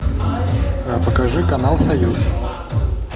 покажи канал союз